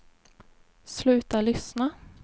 sluta lyssna